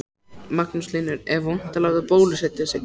Magnús Hlynur: Er vont að láta bólusetja sig?